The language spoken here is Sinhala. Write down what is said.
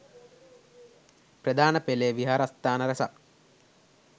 ප්‍රධාන පෙළේ විහාරස්ථාන රැසක්